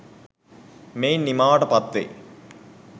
මෙයින් නිමාවට පත්වෙයි.